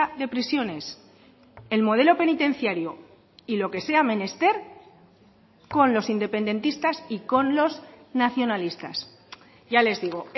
de prisiones el modelo penitenciario y lo que sea menester con los independentistas y con los nacionalistas ya les digo